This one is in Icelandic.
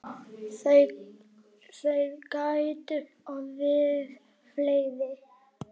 Þeir gætu orðið fleiri.